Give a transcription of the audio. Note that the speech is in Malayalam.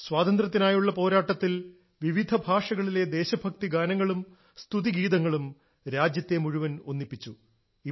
സ്വാതന്ത്ര്യത്തിനായുള്ള പോരാട്ടത്തിൽ വിവിധ ഭാഷകളിലെ ദേശഭക്തി ഗാനങ്ങളും സതുതി ഗീതങ്ങളും രാജ്യത്തെ മുഴുവൻ ഒന്നിപ്പിച്ചു